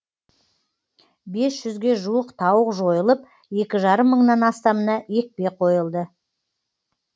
бес жүзге жуық тауық жойылып екі жарым мыңнан астамына екпе қойылды